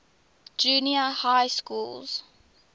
junior high schools